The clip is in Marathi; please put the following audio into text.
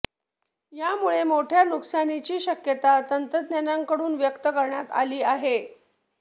यामुळे मोठ्या नुकसानीची शक्यता तज्ज्ञांकडून व्यक्त करण्यात आली आहे